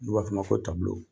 N'u ba d'o ma ko .